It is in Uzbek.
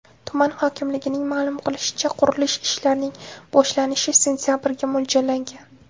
Tuman hokimligining ma’lum qilishicha, qurilish ishlarining boshlanishi sentabrga mo‘ljallangan.